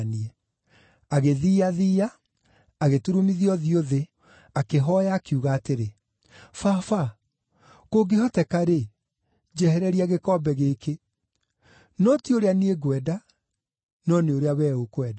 Agĩthiiathiia, agĩturumithia ũthiũ thĩ, akĩhooya, akiuga atĩrĩ, “Baba, kũngĩhoteka-rĩ, njehereria gĩkombe gĩkĩ. No ti ũrĩa niĩ ngwenda, no nĩ ũrĩa wee ũkwenda.”